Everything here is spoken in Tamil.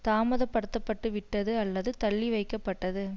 தாமதப்படுத்தப்பட்டுவிட்டது அல்லது தள்ளி வைக்கப்பட்டது